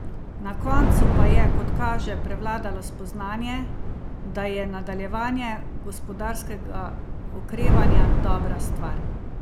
Na koncu pa je, kot kaže, prevladalo spoznanje, da je nadaljevanje gospodarskega okrevanja dobra stvar.